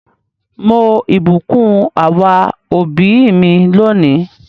Mo ìbùkún our òbí mi lónìí.